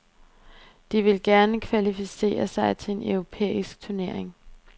De vil gerne kvalificere sig til en europæisk turnering.